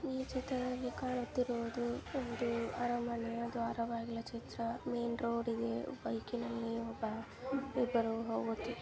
ಈ ಚಿತ್ರದಲ್ಲಿ ಕಾಣುತ್ತಿರುವುದು ಒಂದು ಅರಮನೆ ದ್ವಾರ ಬಾಗಿಲ ಚಿತ್ರ ಮೈನ್ ರೋಡ್ ಇದೆ ಬೈಕ್ನಲ್ಲಿ ಒಬ್ಬ ಇಬ್ಬರು ಹೋಗುತ್ತಿದ್ದಾರೆ.